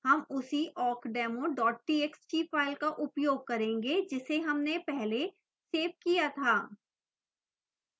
हम उसी awkdemo txt file का उपयोग करेंगे जिसे हमने पहले सेव किया था